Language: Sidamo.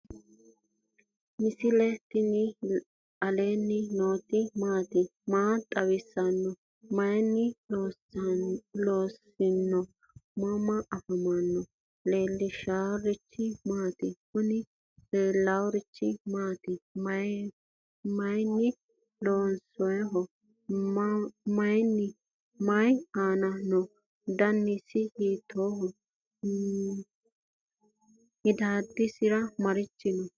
misile tini alenni nooti maati? maa xawissanno? Maayinni loonisoonni? mama affanttanno? leelishanori maati? kuuni leaworichi maati? maayini lonsoyiho? mayi anna no?danisi hitoho? midadosini maarichi no?